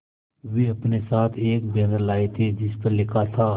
वे अपने साथ एक बैनर लाए थे जिस पर लिखा था